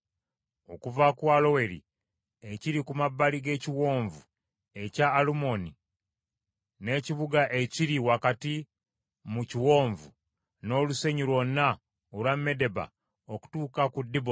Okuva ku Aloweri ekiri ku mabbali g’ekiwonvu ekya Alunoni, n’ekibuga ekiri wakati mu kiwonvu, n’olusenyi lwonna olwa Medeba okutuuka ku Diboni;